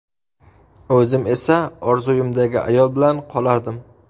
O‘zim esa orzuimdagi ayol bilan qolardim”.